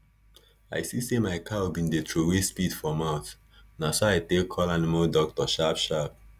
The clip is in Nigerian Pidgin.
i see say my cow been dey trowey spit for mouth na so i take call animal doctor sharp sharp